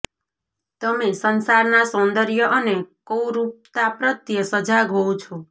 તમે સંસારનાં સૌંદર્ય અને કુરૂપતા પ્રત્યે સજાગ હોવ છો